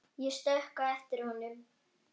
Ég stökk á eftir honum.